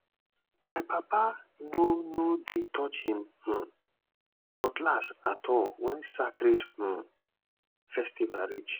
my papa no no dey touch him um cutlass at all when sacred um festival reach